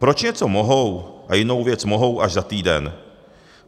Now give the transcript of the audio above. Proč něco mohou, a jinou věc mohou až za týden?